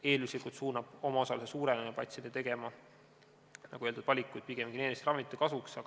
Eelduslikult suunab omaosaluse suurenemine patsiente tegema, nagu öeldud, valikuid pigem geneeriliste ravimite kasuks.